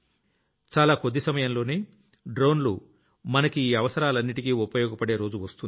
చాలా కొద్ది సమయంలోనే డ్రోన్లు మనకి ఈ అవసరాలన్నింటికీ ఉపయోగపడే రోజు వస్తుంది